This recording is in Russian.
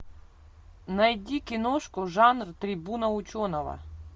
найди киношку жанр трибуна ученого